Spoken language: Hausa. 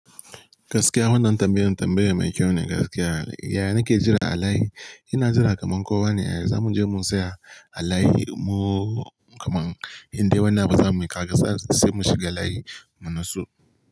Gaskiya wannan tambayan, tambaye mai kyau ne gaskiya. Yaya nake jira a layi? Ina jira kaman kowa ne. Yaya za mu je mu saya a layi mu kaman indai wannan ba za mu yi kaga ba sai mun shiga layi mu nutsu.